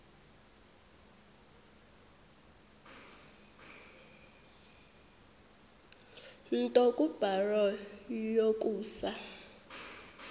nto kubarrow yokusa